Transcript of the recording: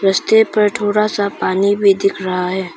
रस्ते पर थोड़ा सा पानी भी दिख रहा है।